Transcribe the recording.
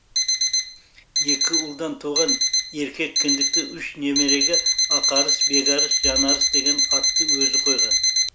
екі ұлдан туған еркек кіндікті үш немереге ақарыс бекарыс жанарыс деген атты өзі қойған